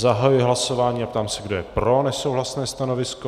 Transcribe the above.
Zahajuji hlasování a ptám se, kdo je pro nesouhlasné stanovisko.